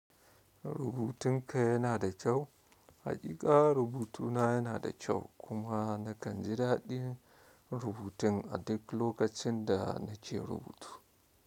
Rubutun ka yana da kyau. Haƙiƙa rubutuna yana da kyau kuma nakan ji daɗin rubutun a duk lokacin da na ke rubutu.